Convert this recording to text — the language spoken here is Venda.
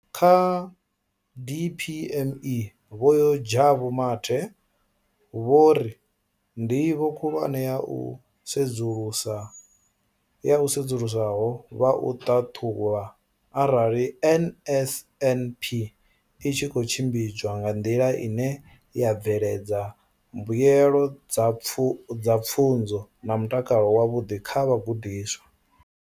Kha DPME, Vho Jabu Mathe, vho ri ndivho khulwane ya u sedzulusaho vha u ṱhaṱhuvha arali NSNP i tshi khou tshimbidzwa nga nḓila ine ya bveledza mbuelo dza pfunzo na mutakalo wavhuḓi kha vhagudiswa.